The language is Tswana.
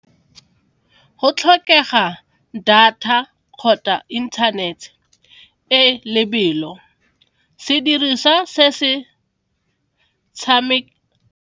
Go tlhokega data kgotsa internet e lebelo, sediriswa se se .